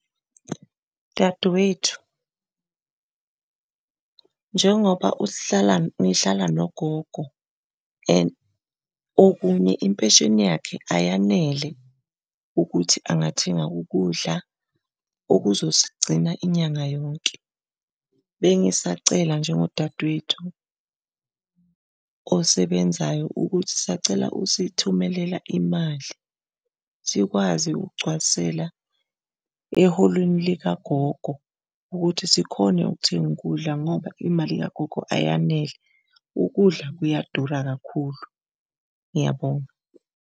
Dadewethu, njengoba uhlala ngihlala nogogo and okunye impesheni yakhe ayanele ukuthi angathenga ukudla okuzosigcina inyanga yonke. Bengisacela njengo dadewethu osebenzayo ukuthi sisacela usithumelela imali, sikwazi ukugcwalisela eholweni likagogo ukuthi sikhone ukuthenga ukudla ngoba imali kagogo ayanele, ukudla kuyadula kakhulu, ngiyabonga.